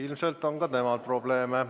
Ilmselt on ka temal probleeme.